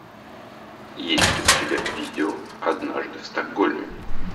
есть у тебя видео однажды в стокгольме